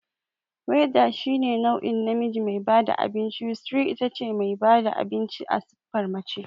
Waiter shine nau'in namiji me bada abinci, Waitress itace mai bada abinci a siffar mace